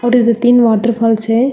और इधर तीन वॉटरफॉल्स है।